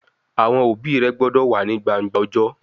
Awọn obi rẹ gbọdọ wa ni gbangba ọjọ!